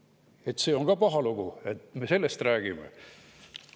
–, siis see on ka paha lugu, et me sellest räägime.